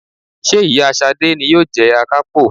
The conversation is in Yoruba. Ṣé ìyá Ṣadé ni yóò jẹ Akápò?